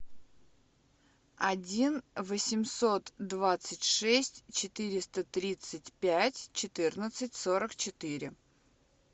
один восемьсот двадцать шесть четыреста тридцать пять четырнадцать сорок четыре